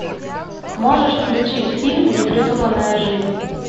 можешь включить фильм непридуманная жизнь